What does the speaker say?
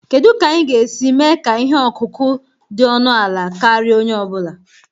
Kedu ka anyị ga-esi mee ka ihe ọkụkụ dị ọnụ ala karịa onye ọ bụla?